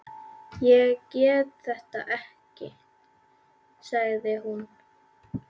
Ég get þetta ekki, sagði hún.